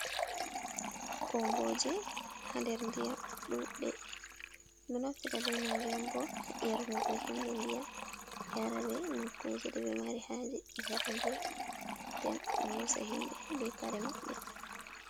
Komboje ha nder ndiyam ɗuɗɗe, ɗo naftira bemaje on bo ha ernugo himbe ndiyam, yara be nokkuje ɗeɓe mari haje, gada ndiyam nden do hosa himɓe be kare maɓɓe.